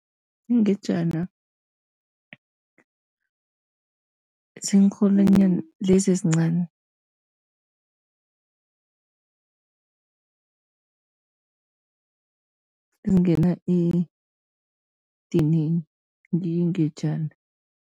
Ingejana ziinrholwanyana lezi ezincani, ezingenza edinini ngiyo ingejana.